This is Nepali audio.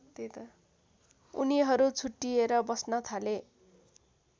उनीहरु छुट्टिएर बस्न थाले